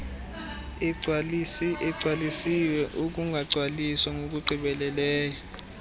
egcwalisiwe ukungagcwaliswa ngokugqibeleleyo